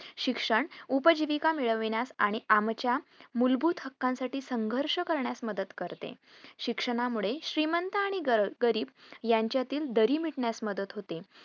शिक्षण उपजीविका मिळविण्यास आणि आमच्या मूलभूत हक्कासाठी संघर्ष करण्यास मदत करते. शिक्षणा मुळे श्रीमंत आणि ग~ गरीब यांच्यातील दरी मिटण्यास मदत होते.